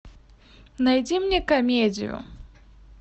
найди мне комедию